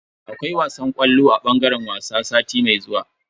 Akwai wasan ƙwallo a bangaren wasa sati mai zuwa.